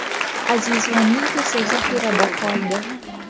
Aziz G‘aniyev esa zaxirada qoldi.